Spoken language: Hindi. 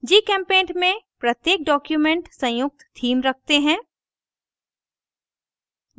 gchempaint में प्रत्येक document संयुक्त theme theme रखते हैं